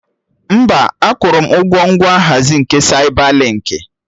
Mba, akwụrụ m ụgwọ ngwa nhazi nke Saibalinkị